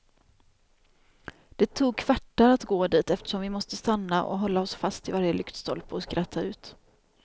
Det tog kvartar att gå dit, eftersom vi måste stanna och hålla oss fast i varje lyktstolpe och skratta ut.